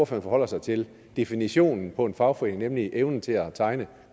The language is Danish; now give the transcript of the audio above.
forholder sig til definitionen på en fagforening nemlig evnen til at tegne